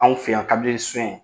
Anw fe yan